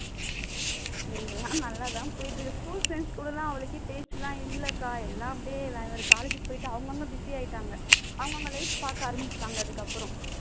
எல்லாம் நல்லா தான் போயிட்டு இருக்கு school friends கூட எல்லாம் அவ்வளவுக்கா பேச்செல்லாம் இல்லக்கா எல்லாம் அப்படியே வேற வேற college க்கு போயிட்டு அவங்க அவங்க busy ஆயிட்டாங்க அவங்க அவங்க life பார்க்க ஆரம்பிச்சிட்டாங்க அதுக்கப்புறம்